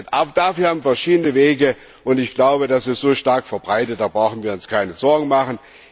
Aber dafür haben wir verschiedene Wege, und ich glaube, das ist so stark verbreitet, da brauchen wir uns keine Sorgen zu machen.